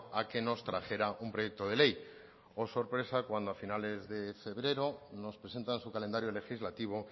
a que nos trajera un proyecto de ley oh sorpresa cuando a finales de febrero nos presentan su calendario legislativo